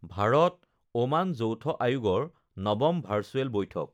Bharat Oman যৌথ আয়োগৰ নৱম ভাৰ্চুৱেল বৈঠক